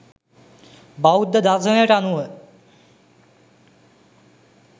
බෞද්ධ දර්ශණයට අනුව